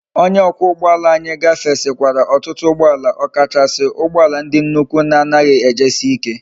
Onye okwa ugboala anyi gafesikwara otutu ugboala okachasi ugboala ndi nnukwu na anaghi eji si ike